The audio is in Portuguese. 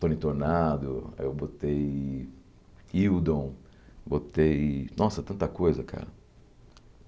Tony Tornado, aí eu botei Hildon, botei... Nossa, tanta coisa, cara!